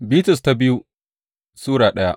biyu Bitrus Sura daya